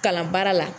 Kalan baara la